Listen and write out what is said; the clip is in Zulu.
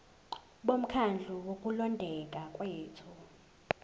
bomkhandlu wokulondeka kwethu